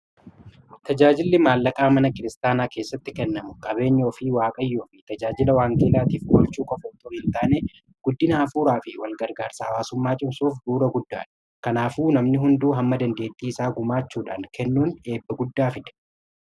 tajaajilli maallaqaa mana kiristaanaa keessatti kennamu gabeenyaa fii waaqayyoo fi tajaajila waangeelaatiif golchuu qofa otoo hin taanee guddina hafuuraa fi walgargaarsaa hawaasummaa cimsuuf buu'ura guddaadha kanaafuu namni hunduu hamma dandeettii isaa gumaachuudhaan kennuun eebba guddaa fide